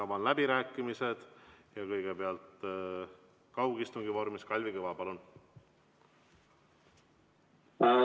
Avan läbirääkimised ja kõigepealt kaugistungi vormis Kalvi Kõva, palun!